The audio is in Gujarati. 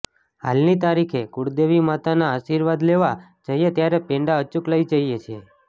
હાલની તારીખે કુળદેવી માતાના આશિર્વાદ લેવા જઈએ ત્યારે પેંડા અચુક લઈ જઈએ છીએ